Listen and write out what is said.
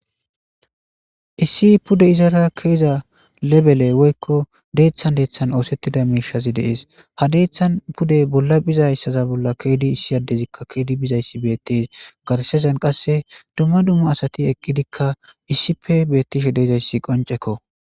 Issi pudde izara keziza deththa deththan ossetida mishshazi de'ess ha deththan pudde bolla biizayssa bolla kezidi issi adezikka kezidi bizayssi betess garssezan qasse dumma dumma asatikka issippe betishe dizaysi qoncceko.